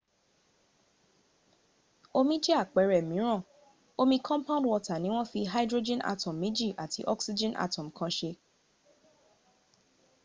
omi jẹ́ àpẹrẹ mìíràn omi compound water ni wọ́n fi hydrogen atom méjì àti oxgen atom kan se